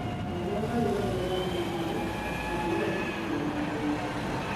Oũrĩa ngari ĩrongerera thibindi, noguo ũbatiĩ gũĩkĩra ngia ya igũrũ.